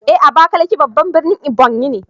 Eh Abakaliki babban birnin Ebonyi ne